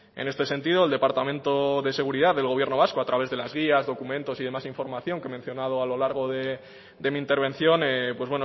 en este sentido el departamento de seguridad del gobierno vasco a través de las guías documentos y demás información que he mencionado a lo largo de mi intervención pues